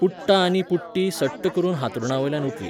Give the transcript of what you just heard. पुट्टाआनी पुट्टी सट्ट करून हांतरुणावयल्यान उठली.